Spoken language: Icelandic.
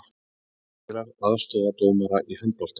Myndavélar aðstoða dómara í handbolta